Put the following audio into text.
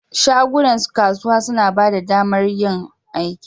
Shagunan kasuwa suna ba da damar yin aiki.